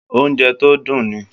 Oúnjẹ tó dùn ni